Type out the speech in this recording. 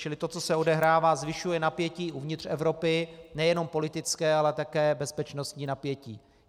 Čili to, co se odehrává, zvyšuje napětí uvnitř Evropy, nejenom politické, ale také bezpečnostní napětí.